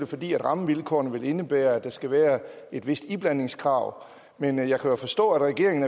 fordi rammevilkårene vil indebære at der skal være et vist iblandingskrav men jeg kan jo forstå at regeringen